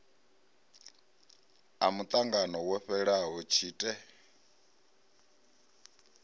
a muṱangano wo fhelaho tshite